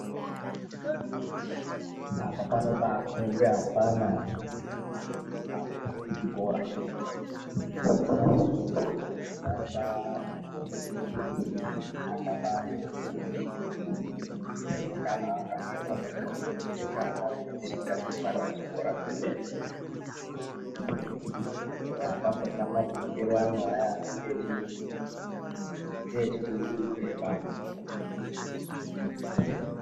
Apa panobakombe afana anobve kuchikora eyahe anobakombe kuti akapfeke zvakanaka , zviri zvinokombe kuite mwana unetsika dzemwana wechikora wemene eya apamborina mapfekero aya anenge echi ngechibungumupee baa apo.